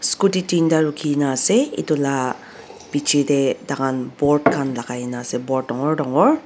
scooty tinda ruki kena ase etu la ka biche tey tai khn board khan lai kena ase board dangor dangor.